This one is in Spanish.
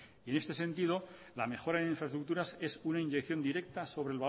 y en este sentido la mejora en infraestructuras es una inyección directa sobre el